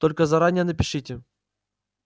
только заранее напишите